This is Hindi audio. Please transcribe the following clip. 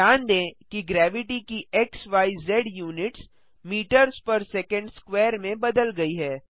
ध्यान दें कि ग्रेविटी की एक्सज units metres per second square में बदल गई है